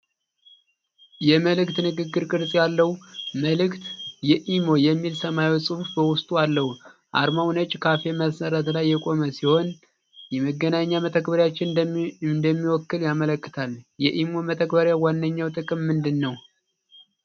የመልዕክት ንግግር ቅርጽ ያለው ምልክት፣ የ"imo" የሚል ሰማያዊ ጽሑፍ በውስጡ አለው። አርማው ነጭ ካሬ መሠረት ላይ የቆመ ሲሆን፣ የመገናኛ መተግበሪያን እንደሚወክል ያመለክታል። የ"imo" መተግበሪያ ዋነኛው ጥቅም ምንድን ነው?